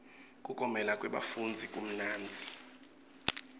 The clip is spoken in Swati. kuklomela kwebafundzi kumnanzi